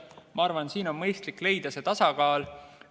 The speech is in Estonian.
Ma arvan, et siin on mõistlik leida tasakaal.